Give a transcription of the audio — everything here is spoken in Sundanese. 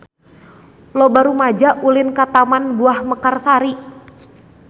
Loba rumaja ulin ka Taman Buah Mekarsari